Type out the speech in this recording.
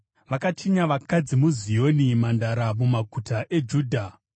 Vakachinya vakadzi muZioni, mhandara, mumaguta eJudha.